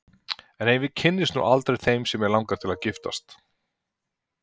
En ef ég kynnist nú aldrei þeim sem mig langar til að giftast?